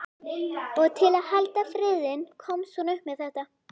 Og til að halda friðinn komst hún upp með þetta.